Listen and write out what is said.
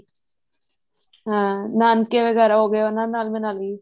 ਹਾਂ ਨਾਨਕੇ ਵਗੈਰਾ ਹੋਗੇ ਉਹਨਾ ਨਾਲ ਮਨਾਲੀ